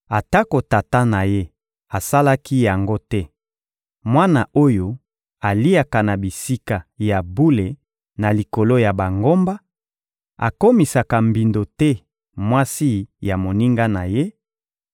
atako tata na ye asalaki yango te, mwana oyo aliaka na bisika ya bule na likolo ya bangomba, akomisaka mbindo te mwasi ya moninga na ye,